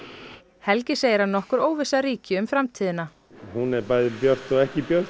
helgi segir að nokkur óvissa ríki um framtíðina hún er bæði björt og ekki björt